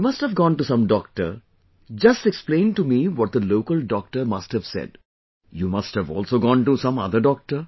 You must have gone to some doctor, just explain to me what the local doctor must have said... you must have also gone to some other doctor